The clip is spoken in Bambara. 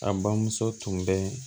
A bamuso tun bɛ